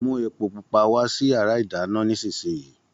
Mú epo pupa wá sí yàrá ìdáná nísìsiyìí